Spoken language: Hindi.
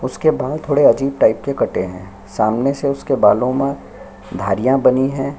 उसके बाल थोड़ा अजीब टाइप के कटे है सामने से उसके बालो में धरिया बनी हैं।